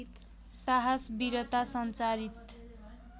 साहस वीरता सञ्चारित